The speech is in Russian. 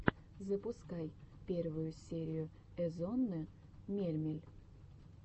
запускай первую серию эзонны мельмель